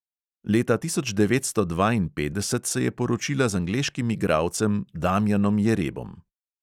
Leta tisoč devetsto dvainpetdeset se je poročila z angleškim igralcem damjanom jerebom.